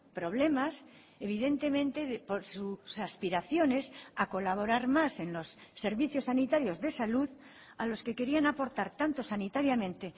problemas evidentemente por sus aspiraciones a colaborar más en los servicios sanitarios de salud a los que querían aportar tanto sanitariamente